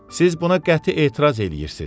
Siz buna qəti etiraz edirsiz.